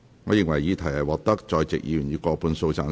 我認為議題獲得在席議員以過半數贊成。